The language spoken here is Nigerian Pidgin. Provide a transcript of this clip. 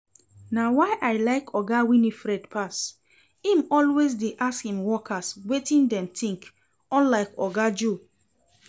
Na why I like Oga Winifred pass, im always dey ask im workers wetin dem think unlike Oga Joe